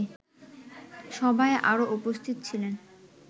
সভায় আরো উপস্থিত ছিলেন